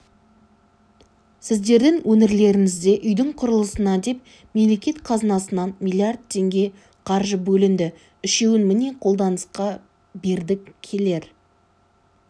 сіздердің өңірлеріңізде үйдің құрылысына деп мемлекет қазынасынан млдр теңге қаржы бөлінді үшеуін міне қолданысқа бердік келер